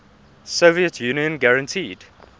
soviet union guaranteed